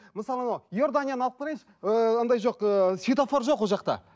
мысалы анау иорданияны алып қараңызшы ыыыы анандай жоқ ыыы цфетофор жоқ ол жақта